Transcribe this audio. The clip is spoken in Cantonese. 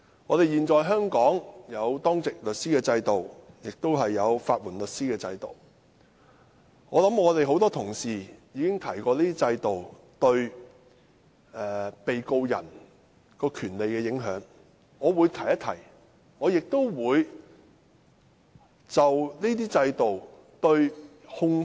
香港現時設有當值律師制度及法援制度，多位議員亦已討論有關制度對被告人的權利有何影響，因此我只會略提。